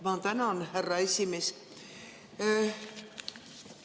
Ma tänan, härra esimees!